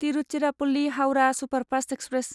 Tiruchirappalli Howrah superfast express